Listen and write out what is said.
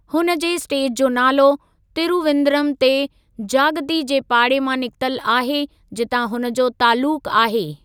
हुन जे स्टेज जो नालो तिरूविंदरम जे जागती जे पाड़े मां निकितल आहे जितां हुन जो तालुकु आहे।